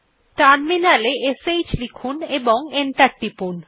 terminal এ শ্ লিখুন এবং এন্টার টিপুন